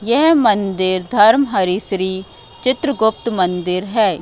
यह मंदिर धर्महरी श्री चित्रगुप्त मंदिर है।